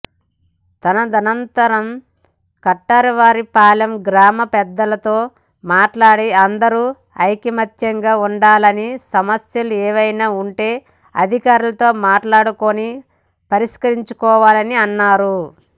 తదనంతరం కటారివారిపాలెం గ్రామ పెద్దలతో మాట్లాడి అందరూ ఐకమత్యంగా ఉండాలని సమస్యలు ఏమైనా ఉంటే అధికారులతో మాట్లాడుకుని పరిష్కరించుకోవాలని అన్నారు